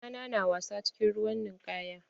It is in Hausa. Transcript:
Ɗa na na wasa cikin ruwan ninkaya.